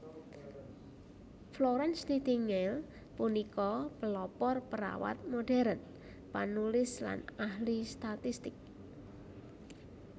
Florence Nightingale punika pelopor perawat modhèrn panulis lan ahli statistik